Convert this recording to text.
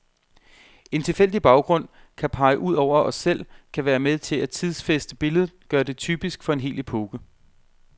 En tilfældig baggrund kan pege ud over os selv, kan være med til at tidsfæste billedet, gøre det typisk for en hel epoke.